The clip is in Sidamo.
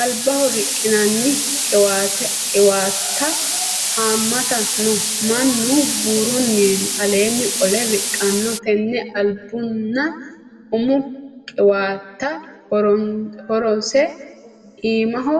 Albaaho riqinanni qiwatta hamatta no mannuno buurunni aleeni qole riqano tene albunna umu qiwatta horoseno iimaho